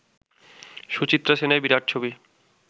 সুচিত্রা সেনের বিরাট ছবি